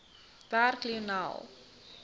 werk lionel